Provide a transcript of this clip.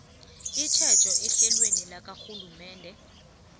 itjhejo ehlelweni lakarhulumende